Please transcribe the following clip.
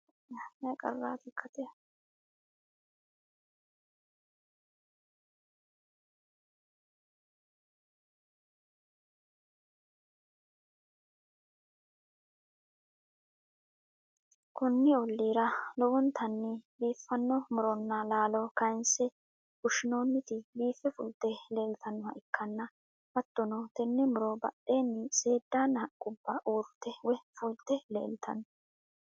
konni ollira lowontanni biiffanno muronna laalo kayyinse fushshinooniti biiffe fulte leeltannoha ikkana, hattono tenne muro badheenni seedddanna haqqubba uurrite woy fulte leeltanno.